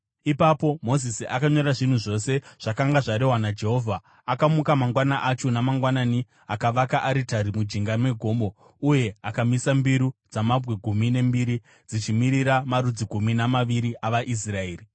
Ipapo Mozisi akanyora zvinhu zvose zvakanga zvarehwa naJehovha. Akamuka mangwana acho mangwanani akavaka aritari mujinga megomo uye akamisa mbiru dzamabwe gumi nembiri dzichimirira marudzi gumi namaviri avaIsraeri.